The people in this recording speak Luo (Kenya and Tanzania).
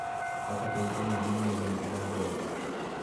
Kaka piny Kenya dhi nyime gi dongruok.